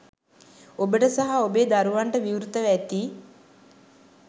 ඔබට සහ ඔබේ දරුවන්ට විවෘතව ඇති